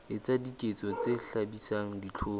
etsa diketso tse hlabisang dihlong